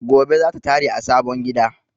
Gobe zata tare a sabon gida